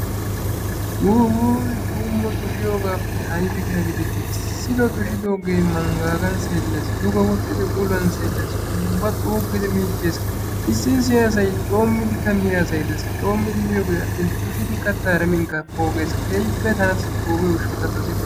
Wuwuy! tuumo tushiyoogappe aybbi keha giideti issitoo tushidooge manggaagan sellees, duge woxxidi uluwan selees, ubba xuugudi miichchees. Issi issi asay coomidi miyaageeka de'ees. coomidi miyooge attin tushidi kattaara minkka pooges. keehipe tassi pogiyo gishshaw ta dossikke.